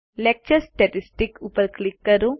lecture statistics ઉપર click કરો